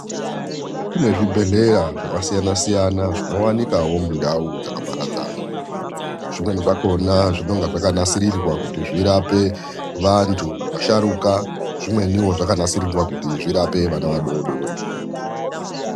Kune zvibhedhleya zvakasiyana-siyana , zvinowanikawo mundau dzakaparadzana . Zvimweni zvakhona zvinonga zvakanasirirwa kuti zvirapwe vantu vasharuka , zvimweniwo zvakanasirirwa kuti zvirape vana vadodori.